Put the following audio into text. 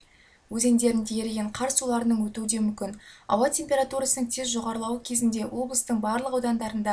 өзендерінде еріген қар суларының өтуі де мүмкін ауа температурасының тез жоғарлауы кезінде облыстың барлық аудандарында